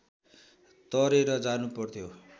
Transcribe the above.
तरेर जानुपर्थ्यो